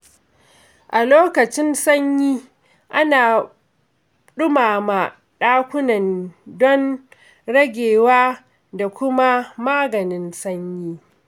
A lokacin sanyi, ana ɗumama ɗakunan don ragewa da kuma maganin sanyi.